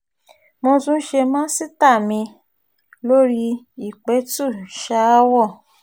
mo tún ṣe màsítáà mi-ín lórí ìpẹ̀tù-sàáwọ̀